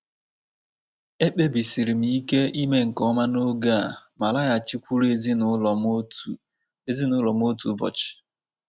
Ekpebisiri m ike ime nke ọma n'oge a ma laghachikwuru ezinụlọ m otu ezinụlọ m otu ụbọchị.